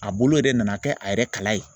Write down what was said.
A bolo yɛrɛ nana kɛ a yɛrɛ kala ye.